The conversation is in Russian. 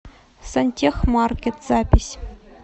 сантехмаркет запись